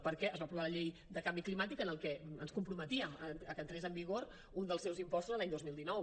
perquè es va aprovar la llei de canvi climàtic en què ens comprometíem que entrés en vigor un dels seus impostos l’any dos mil dinou